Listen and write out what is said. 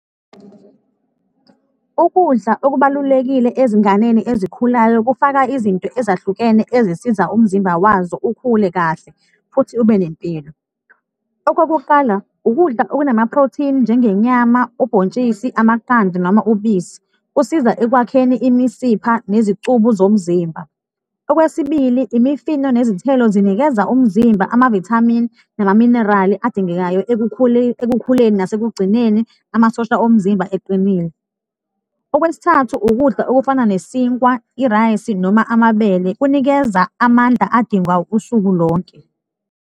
Ukudla okubalulekile ezinganeni ezikhulayo kufaka izinto ezahlukene ezisiza umzimba wazo ukhule kahle futhi ube nempilo. Okokuqala, ukudla okunama-protein njengenyama, ubhontshisi, amaqanda noma ubisi, kusiza ekwakheni imisipha nezicubu zomzimba. Okwesibili, imifino nezithelo zinikeza umzimba ama-vitamin namaminerali adingekayo ekukhuleni nasekugcineni amasosha omzimba eqinile. Okwesithathu, ukudla okufana nesinkwa, iraysi noma amabele kunikeza amandla adingwa usuku lonke.